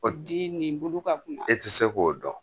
O di ni bulu ka kunba. E ti se k'o dɔn.